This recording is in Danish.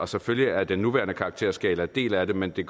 selvfølgelig er den nuværende karakterskala en del af det men det